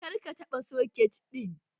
Kar ka taɓa soket ɗin!